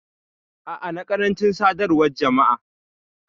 A'a, na karanci Sadarwan Jama'a.